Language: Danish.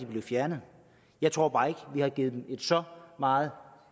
blevet fjernet jeg tror bare ikke at vi har givet dem et så meget